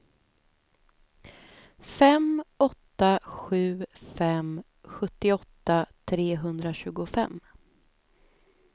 fem åtta sju fem sjuttioåtta trehundratjugofem